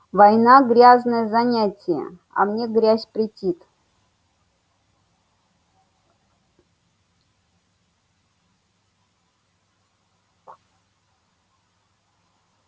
война грязное занятие а мне грязь претит